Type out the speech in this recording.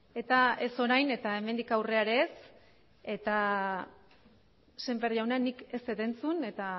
eta ez orain eta hemendik aurrera ere ez semper jauna nik ez dut entzun eta